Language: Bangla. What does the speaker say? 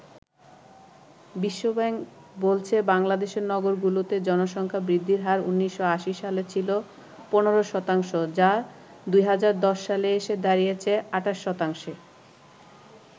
বিশ্বব্যাংক বলছে বাংলাদেশের নগরগুলোতে জনসংখ্যা বৃদ্ধির হার ১৯৮০ সালে ছিল ১৫ শতাংশ যা ২০১০ সালে এসে দাঁড়িয়েছে ২৮ শতাংশে।